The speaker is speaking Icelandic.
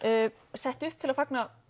sett upp til að fagna